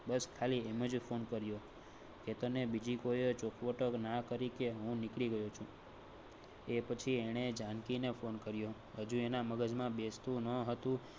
કે તને બીજી કોઈ ચોખવટ ના કરી કે નીકળી ગયો એ પછી એને જાનકી ને phone કર્યો. હજુ એના મગજમાં બેસતું ન હતું